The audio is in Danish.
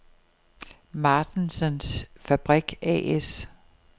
Martensens Fabrik A/S